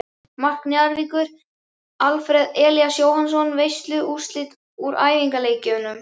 Mark Njarðvíkur: Alfreð Elías Jóhannsson Veistu úrslit úr æfingaleikjum?